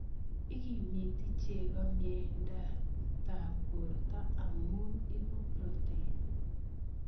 Ikimiti chego mieindatab borto amu ibu protein